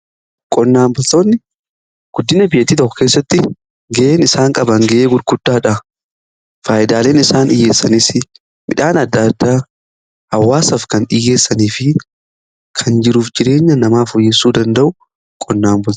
Qonnaan boltoonni guddina biyya tokko keessatti ga'een isaan qaban ga'ee guddaadha. Faayidaaleen isaan dhiyyeessanis midhaan adda addaa hawaasaaf kan dhiiyeessanii fi kan jiruuf jireenya namaa fooyyessuu danda'u qonnaa bultootadha.